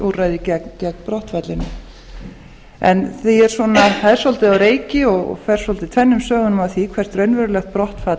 úrræði gegn brottfallinu það er svolítið á reiki og fer tvennum sögum af því hvert raunverulegt brottfall